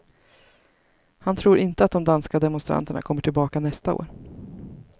Han tror inte att de danska demonstranterna kommer tillbaka nästa år.